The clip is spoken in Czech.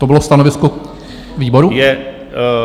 To bylo stanovisko výboru?